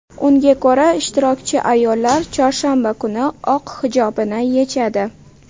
Unga ko‘ra, ishtirokchi ayollar chorshanba kuni oq hijobini yechadi.